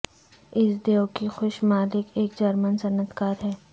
اس دیو کی خوش مالک ایک جرمن صنعت کار ہے